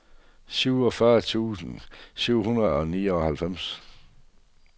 syvogfyrre tusind syv hundrede og nioghalvfems